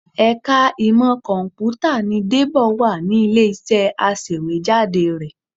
Ẹ̀ka ìmọ Kọ̀m̀pútà ni Débọ̀ wà ní ilé-iṣẹ́ aṣèwéjádé rẹ